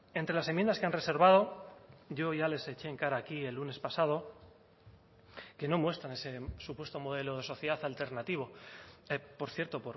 entre las enmiendas que han reservado yo ya les eché en cara aquí el lunes pasado que no muestran ese supuesto modelo de sociedad alternativo por cierto